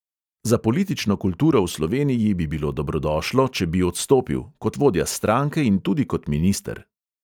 Za politično kulturo v sloveniji bi bilo dobrodošlo, če bi odstopil – kot vodja stranke in tudi kot minister.